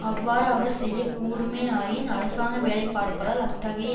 அவ்வாறு அவர் செய்யக்கூடுமேயாயின் அரசாங்க வேலை பார்ப்பதால் அத்தகைய